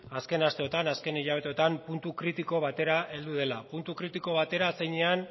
azken asteotan azken hilabeteotan puntu kritiko batera heldu dela puntu kritiko batera zeinean